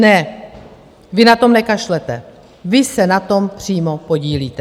Ne, vy na to nekašlete, vy se na tom přímo podílíte.